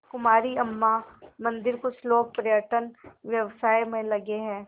कुमारी अम्मा मंदिरकुछ लोग पर्यटन व्यवसाय में लगे हैं